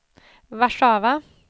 Warszawa